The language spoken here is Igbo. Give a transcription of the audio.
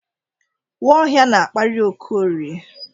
Nwaohia na-akparị Okorie.